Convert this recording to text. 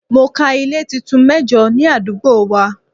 Mo ka ilé tuntun mẹ́jo ní àdúgbò wa.